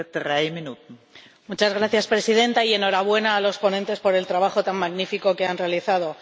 Señora Presidenta, enhorabuena a los ponentes por el trabajo tan magnifico que han realizado.